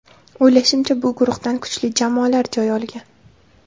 O‘ylashimcha, bu guruhdan kuchli jamoalar joy olgan.